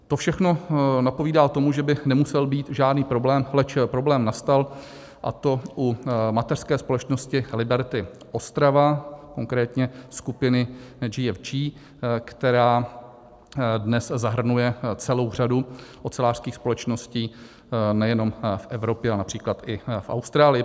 To všechno napovídá tomu, že by nemusel být žádný problém, leč problém nastal, a to u mateřské společnosti Liberty Ostrava, konkrétně skupiny GFG, která dnes zahrnuje celou řadu ocelářských společností nejenom v Evropě, ale například i v Austrálii.